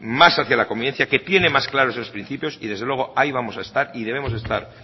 más hacia la convivencia que tiene más claro esos principios y desde luego ahí vamos a estar y debemos de estar